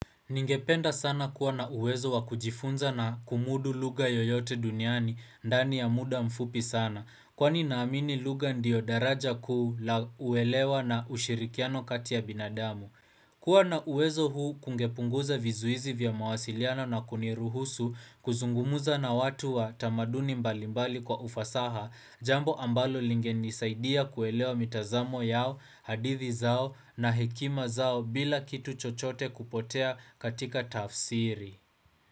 Ningependa sana kuwa na uwezo wa kujifunza na kumudu lugha yoyote duniani, ndani ya muda mfupi sana, kwani naamini lugha ndiyo daraja kuu la kuelewa na ushirikiano kati ya binadamu. Kuwa na uwezo huu kungepunguza vizuizi vya mawasiliano na kuniruhusu kuzungumuza na watu wa tamaduni mbalimbali kwa ufasaha, jambo ambalo lingenisaidia kuelewa mitazamo yao, hadithi zao na hekima zao bila kitu chochote kupotea katika tafsiri.